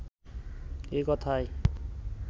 এ কথায়